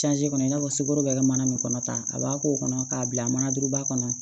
kɔnɔ i n'a fɔ sukɔro bɛɛ kɛ mana min kɔnɔ tan a b'a k'o kɔnɔ k'a bila manadurunba kɔnɔ